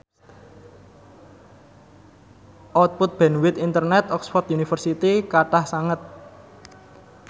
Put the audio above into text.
output bandwith internet Oxford university kathah sanget